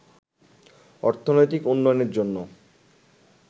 অর্থনৈতিক উন্নয়নের জন্য